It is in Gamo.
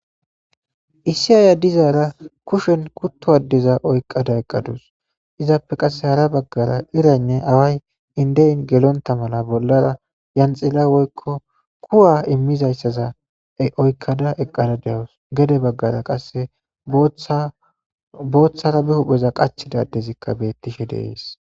Issi ayiya dizara kushen kuto adeza oykada eqadus izappe qase hara bagara iraynne away inden gelonta mala bolara yanxila woyko kuwa imizayssaza oykada eqadus gede bagara qase bota bitara be hupheza qachiza adezi betishe dees.